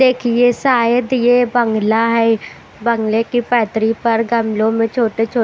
देखिए सायत ये बंगला है बंगले की पैतरी पर गमलों में छोटे-छोटे।